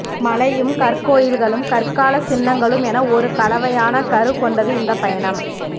மழையும் கற்கோயில்களும் கற்காலச் சின்னங்களும் என ஒரு கலவையான கரு கொண்டது இந்த பயணம்